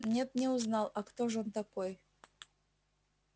нет не узнал а кто ж он такой